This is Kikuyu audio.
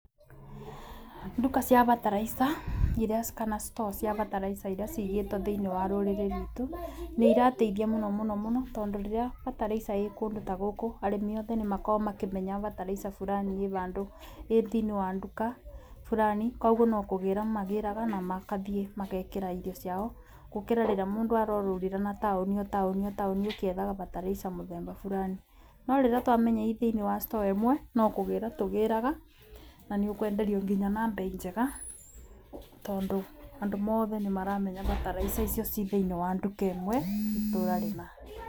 Nduka cia bataraica iria kana store cia bataraica iria cigĩtwo thĩinĩ wa rũrĩrĩ ruitũ nĩ irateithia mũno mũno mũno, tondũ rĩrĩa bataraica ĩ kũndũ ta gũkũ arĩmi othe nĩ makĩmenyaga bataraica furani ĩ bandũ ĩ thiinĩ wa nduka bũrani. Koguo no kũgĩra magĩraga na makathiĩ magekĩra irio ciao gũkĩra rĩrĩa mũndũ arorũrĩra matũni otaũni o taũni ũkiethaga bataraica mũthemba bũrani. No rĩrĩa twamenya ĩthĩinĩ wa store ĩmwe no kũgĩra tũgĩraga na nĩ ũkwenderio nginya na mbei njega. Tondũ andũ mothe nĩ maramenya bataraica icio ciĩ thiinĩ wa nduka ĩmwe itũra rĩna.